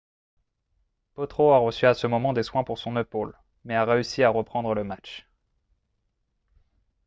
potro a reçu à ce moment des soins pour son épaule mais a réussi à reprendre le match